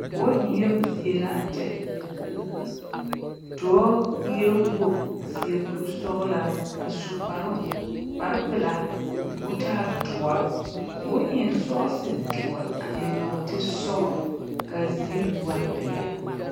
Bͻl ŋmeԑbo zie la a kyԑ. Dͻͻ eԑԑ wogi a seԑ kurisͻgelaa a su kparoŋ kpare pelaa koo taa dõͻre. koo eŋ sͻͻse dõͻre, a eŋ nͻͻte sͻgelͻ ka a ziiri mine waa peԑle.